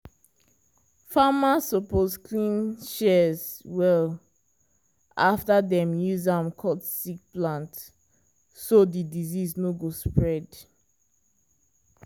farmers suppose clean shears well after dem use am cut sick plant so di disease no go spread.